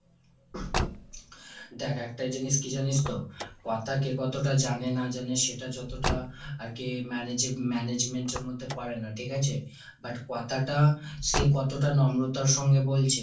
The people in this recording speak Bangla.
দ্যাখ, একটা জিনিস কি জানিস তো কথা কে কতটা জানে না জানে সেটা যতটা আর কি manage ~management এর মধ্যে পরে না ঠিক আছে। but কথাটা সে কতটা নম্রতার সঙ্গে বলছে,